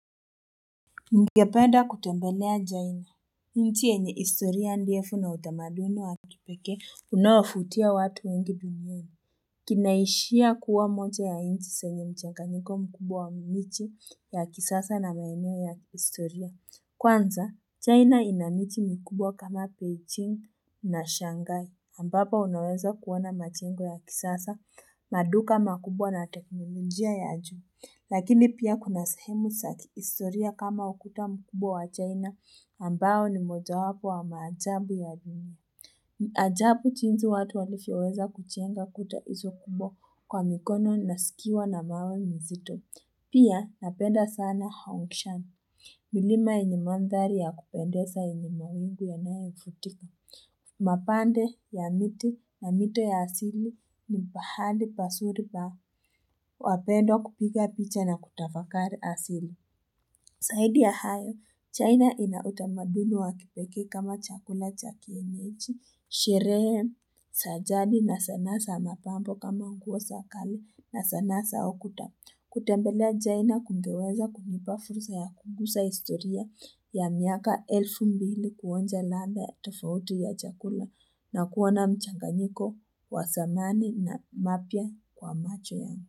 Ningependa kutembelea china, nchi yenye historia ndefu na utamaduni wa kipekee unawavutia watu wengi duniani. Kinaishia kuwa moja ya nchi zenye mchanganyiko mkubwa wa miji ya kisasa na maeneo ya kihistoria. Kwanza, china ina miji mikubwa kama Beijing na Shanghai, ambapo unaweza kuona majengo ya kisasa, maduka makubwa na teknolojia ya juu Lakini pia kuna sehemu za kihistoria kama ukuta mkubwa wa China ambao ni moja wapo wa maajabu ya dunia. Ajabu jinsi watu walivyoweza kujenga kuta izo kubwa kwa mikono nazikiwa na mawe nzito. Pia napenda sana haongshami. Milima yenye mandhari ya kupendeza yenye mawingu yanayo futika. Mapande ya miti na mito ya asili nipahali pazuri pa wapendwa kupika picha na kutafakari asili zaidi ya hayo, China inautamaduni wa kipekee kama chakula chakienyeji Sherehe za jadi na sanaa za mapambo kama nguo za kale na sanaa za ukuta kutembelea china kungeweza kunipa fursa ya kugusa historia ya miaka elfu mbili kuonja ladha ya tofauti ya chakula na kuona mchanganyiko wa zamani na mapya kwa macho yangu.